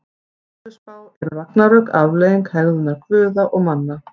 Í Völuspá eru ragnarök afleiðing hegðunar guða og manna.